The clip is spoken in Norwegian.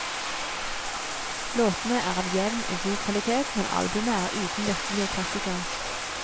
Låtene er av jevn og god kvalitet, men albumet er uten virkelige klassikere.